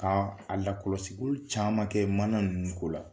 K' alakɔlɔsiliw caman kɛ mana nunnu ko la